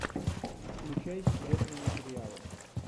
включай секретные материалы